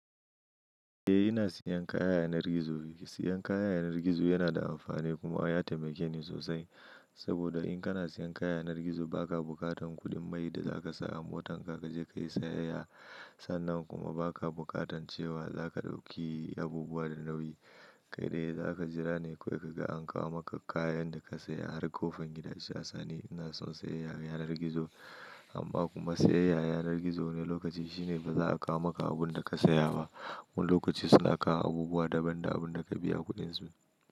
Eh ina siyan kaya a yanar gizo. Siyan kaya a yanar gizo yana da amfani kuma ya taimake ni sosai. Saboda in kana siyan kaya a yanar gizo ba ka bukatan kuɗin mai da za ka sa a motar ka, ka je ka yi sayayya. Sannan kuma ba ka bukatan cewa za ka ɗauki abubuwa da nauyi. Kai dai za ka jira ne kawai ka ga an kawo maka kayan da ka saya har ƙofar gida shi a sane. Ina son sayayya yanar gizo amma kuma sayayya a yanar gizo wani lokaci shine ba za a kawo maka abun da ka saya ba. Wani lokaci suna kawo abubuwa daban da abun da ka biya kuɗin su.